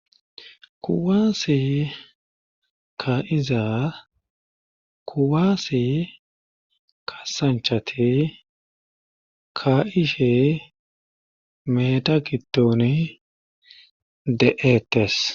kuwaase ka izaa kuwaase kasanchate ka ishe meta kittoni de7eettes